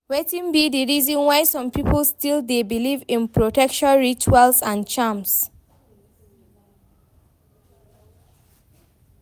Wetin be di reason why some people still dey believe in protection rituals and charms?